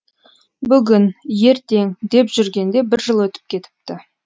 бүгін ертең деп жүргенде бір жыл өтіп кетіпті